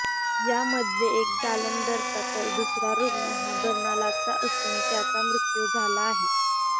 यामध्ये एक जालंधरचा तर दुसरा रूग्ण हा बरनालाचा असून त्याचा मृत्यू झाला आहे